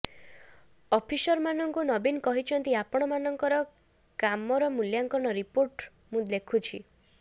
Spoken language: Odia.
ଅଫିସରମାନଙ୍କୁ ନବୀନ କହିଛନ୍ତି ଆପଣମାନଙ୍କର କାମର ମୂଲ୍ୟାଙ୍କନ ରିପୋର୍ଟ ମୁଁ ଲେଖୁଛି